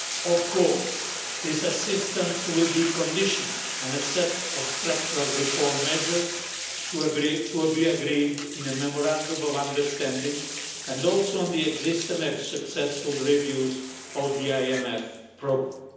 Of course this assistance will be conditional on a set of structural reform measures to be agreed in a memorandum of understanding, and also on the existing and successful reviews of the IMF programme.